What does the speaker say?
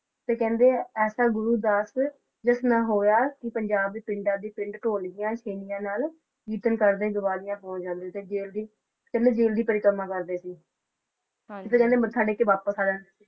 ਤੇ ਕਹਿੰਦੇ ਐਸਾ ਗੁਰੂ ਦੱਸ ਜਿਸ ਨਾ ਹੋਇਆ ਕੀ ਪੰਜਾਬ ਦੇ ਪਿੰਡਾਂ ਦੀਆਂ ਪਿੰਡ ਢੋਲੀਆਂ ਛੈਣਿਆਂ ਨਾਲ ਕੀਰਤਨ ਕਰਦੇ ਦੀਵਾਲੀਆ ਪਹੁੰਚ ਜਾਂਦੇ ਸੀ ਜੇਲ ਦੀ ਕਹਿੰਦੇ ਜ਼ੇਲ ਦੀ ਪਰਿਕਰਮਾ ਕਰਦੇ ਸੀ ਤੁਸੀ ਕਹਿੰਦੇ ਮੱਥਾ ਟੇਕ ਕੇ ਵਾਪਸ ਆ ਜਾਂਦੇ ਸੀ